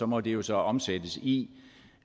må det jo så omsættes i